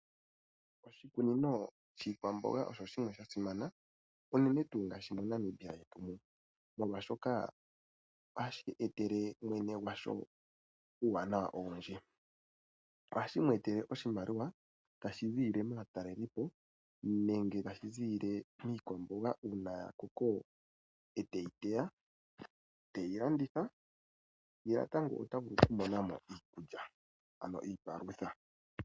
Oshikunino shiikwamboga osho shimwe sha simana, unene tuu ngaashi moNamiba yetu mu. Molwashoka ohashi etele mwene gwasho uuwanawa owindji. Ohashi mu etele oshimaliwa tashi ziilile maatalelipo nenge tashi ziilile miikwamboga uuna ya koko e teyi teya, teyi landitha, ye natango ota vulu okumona mo iikulya ano iipalutha.